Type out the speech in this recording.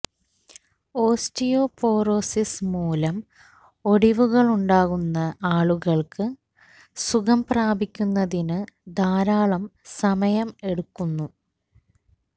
osteoporosis മൂലം ഒടിവുണ്ടാകുന്ന ആളുകള്ക്ക് സുഖം പ്രാപിക്കുന്നതിന് ധാരാളം സമയം എടുക്കുന്നു